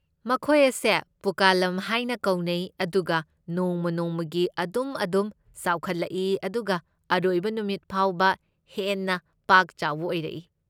ꯃꯈꯣꯏ ꯑꯁꯦ ꯄꯨꯛꯀꯂꯝ ꯍꯥꯏꯅ ꯀꯧꯅꯩ ꯑꯗꯨꯒ ꯅꯣꯡꯃ ꯅꯣꯡꯃꯒꯤ ꯑꯗꯨꯝ ꯑꯗꯨꯝ ꯆꯥꯎꯈꯠꯂꯛꯏ ꯑꯗꯨꯒ ꯑꯔꯣꯏꯕ ꯅꯨꯃꯤꯠ ꯐꯥꯎꯕ ꯍꯦꯟꯅ ꯄꯥꯛꯆꯥꯎꯕ ꯑꯣꯏꯔꯛꯏ꯫